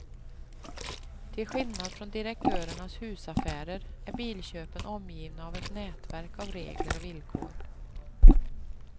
Till skillnad från direktörernas husaffärer är bilköpen omgivna av ett nätverk av regler och villkor.